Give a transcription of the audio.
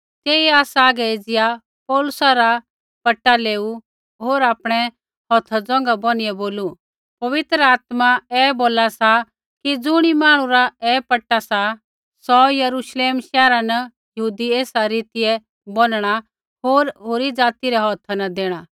तेइयै आसा हागै एज़िया पौलुसा रा पटा लेऊ होर आपणै हौथ ज़ोंघा बोनिआ बोलू पवित्र आत्मा ऐ बोला सा कि ज़ुणी मांहणु रा ऐ पटा सा सौ यरूश्लेम शैहरा न यहूदी एसा रीतियै बोनणा होर होरी ज़ाति रै हौथा न देणा